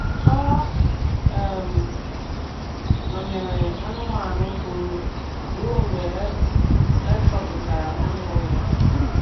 Ọ um nọ̀nyerè anụ́manụ fùurù ruo mgbe e chọpụtara onye nwe ya.